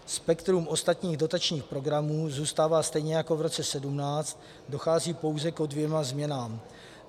Spektrum ostatních dotačních programů zůstává stejně jako v roce 2017, dochází pouze ke dvěma změnám.